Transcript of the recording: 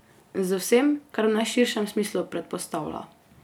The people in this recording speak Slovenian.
Z vsem, kar v najširšem smislu predpostavlja.